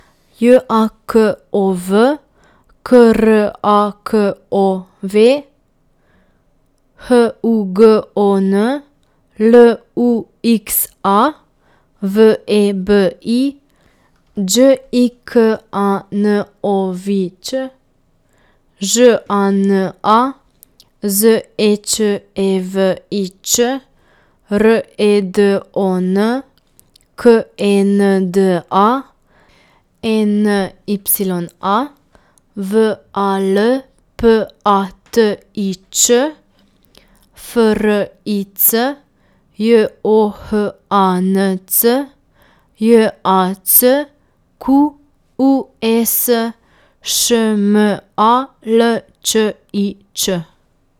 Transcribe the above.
J A K O V, K R A K O W; H U G O N, L U X A; V E B I, Đ I K A N O V I Ć; Ž A N A, Z E Č E V I Č; R E D O N, K E N D A; E N Y A, V A L P A T I Č; F R I C, J O H A N C; J A C Q U E S, Š M A L Č I Č.